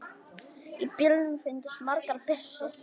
Í bílnum fundust margar byssur.